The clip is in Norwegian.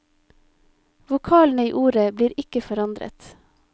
Vokalene i ordet blir ikke forandret.